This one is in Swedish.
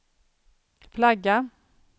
flagga